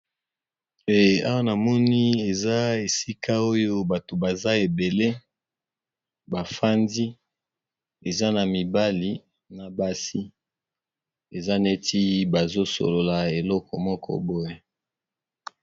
Eh awa na moni eza esika oyo bato baza ebele ba fandi, eza na mibali na basi eza neti bazo solola eloko moko boye.